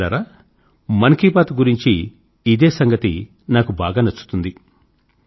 మిత్రులారా మన్ కీ బాత్ గురించి ఇదే సంగతి నాకు బాగా నచ్చుతుంది